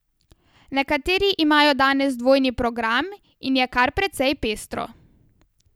Nekateri imajo danes dvojni program in je kar precej pestro.